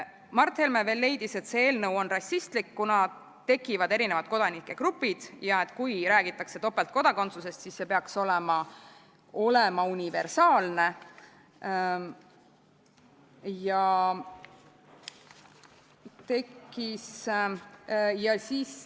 Mart Helme leidis veel, et see eelnõu on rassistlik, kuna tekivad erinevad kodanike grupid ja et kui räägitakse topeltkodakondsusest, siis see peaks olema universaalne.